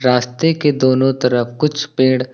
रास्ते के दोनों तरफ कुछ पेड़--